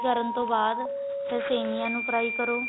ਕਰਨ ਤੋਂ ਬਾਅਦ ਫੇਰ ਸੇਮੀਆਂ ਨੂੰ fry ਕਰੋ